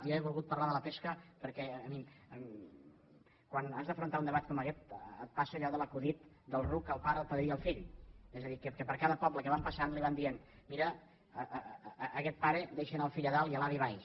jo he volgut parlar de la pesca perquè quan has d’afrontar un debat com aguest et passa allò de l’acudit del ruc el pare el padrí i el fill és a dir que per cada poble que van passant li van dient mira aguest pare deixa anar el fill a dalt i l’avi a baix